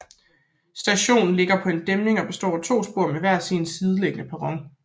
Stationen ligger på en dæmning og består af to spor med hver sin sideliggende perron